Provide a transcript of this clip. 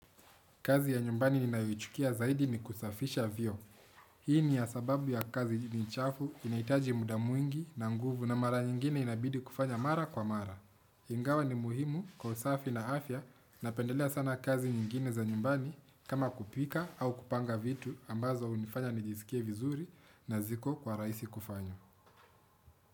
Kazi ya nyumbani ninayoichukia zaidi ni kusafisha vyoo. Hii ni ya sababu ya kazi ni chafu, inahitaji muda mwingi na nguvu na mara nyingine inabidi kufanya mara kwa mara. Ingawa ni muhimu kwa usafi na afya, napendelea sana kazi nyingine za nyumbani kama kupika au kupanga vitu ambazo hunifanya nijisikie vizuri na ziko kwa rahisi kufanya.